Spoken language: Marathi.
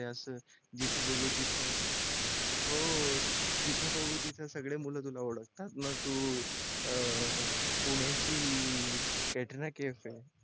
नाय असच जिथे बघू तिथं हो जिथं बघू तिथं सगळे मुलं तुला ओळखतात ना तू अं पुण्याची Katrina Kaif ये